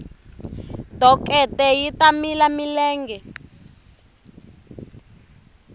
dokete yi ta mila milenge